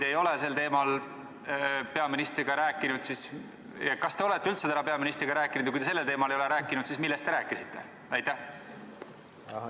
Ja kui te sel teemal peaministriga ei ole rääkinud, siis kas te üldse olete täna härra peaministriga rääkinud, ja kui te sel teemal ei rääkinud, siis millest te rääkisite?